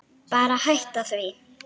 Bara hætta því.